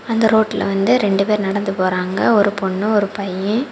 அந்த ரோட்ல வந்து ரெண்டு பேர் நடந்து போறாங்க ஒரு பொண்ணு ஒரு பைய.